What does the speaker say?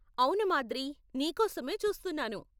అవును మాద్రి , నీకోసమే చూస్తున్నాను.